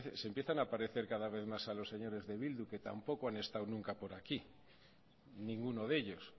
se empiezan a parecer cada vez más a los señores de bildu que tampoco han estado nunca por aquí ninguno de ellos